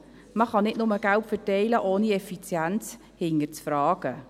Man kann nicht nur Geld verteilen, ohne die Effizienz zu hinterfragen.